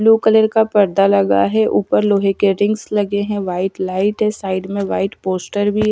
blue colour का पर्दा लगा है ऊपर लोहे के रिंग्स लगे हैं व्हाइट लाइट है साइड में व्हाइट पोस्टर भी--